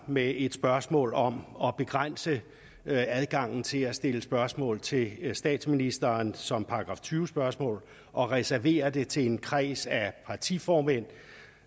med et spørgsmål om at begrænse adgangen til at stille spørgsmål til statsministeren som § tyve spørgsmål og reserverer det til en kreds af partiformand